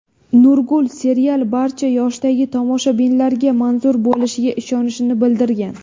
Nurgul serial barcha yoshdagi tomoshabinlarga manzur bo‘lishiga ishonishini bildirgan.